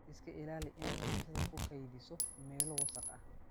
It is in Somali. Iska ilaali inaad cuntada ku kaydiso meelo wasakh ah.